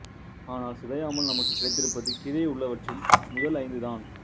ஆனால் சிதையாமல் நமக்குக் கிடைத்திருப்பது கீழேயுள்ளவற்றில் முதல் ஐந்து தான்